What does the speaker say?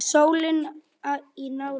Hvaða ilmvatn notarðu núna?